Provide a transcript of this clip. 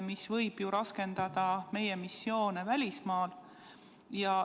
See võib ju raskendada meie missioone välismaal.